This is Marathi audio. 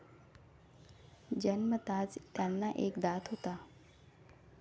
जन्मताच त्यांना एक दात होता.